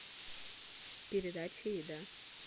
передача еда